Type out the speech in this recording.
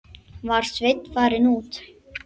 Var Sveinn farinn út?